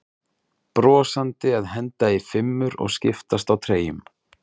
Brosandi að henda í fimmur og skiptast á treyjum?